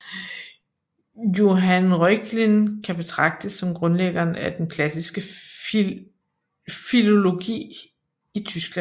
Johann Reuchlin kan betragtes som grundlæggeren af den klassiske filologi i Tyskland